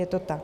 Je to tak.